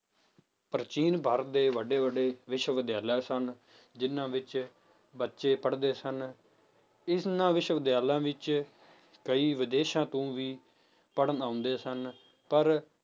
ਪ੍ਰਾਚੀਨ ਭਾਰਤ ਦੇ ਵੱਡੇ ਵੱਡੇ ਵਿਸ਼ਵ ਵਿਦਿਆਲਯ ਸਨ ਜਿੰਨਾਂ ਵਿੱਚ ਬੱਚੇ ਪੜ੍ਹਦੇ ਸਨ, ਇਹਨਾਂ ਵਿਸ਼ਵ ਵਿਦਿਆਲਯ ਵਿੱਚ ਕਈ ਵਿਦੇਸ਼ਾਂ ਤੋਂ ਵੀ ਪੜ੍ਹਣ ਆਉਂਦੇ ਸਨ, ਪਰ